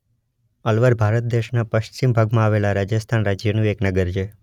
અલવાર ભારત દેશના પશ્ચિમ ભાગમાં આવેલા રાજસ્થાન રાજ્યનું એક નગર છે.